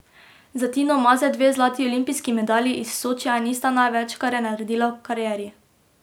Za Tino Maze dve zlati olimpijski medalji iz Sočija nista največ, kar je naredila v karieri.